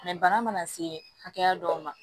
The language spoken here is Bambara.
bana mana se hakɛya dɔw ma